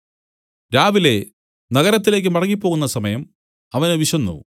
രാവിലെ നഗരത്തിലേയ്ക്ക് മടങ്ങിപ്പോകുന്ന സമയം അവന് വിശന്നു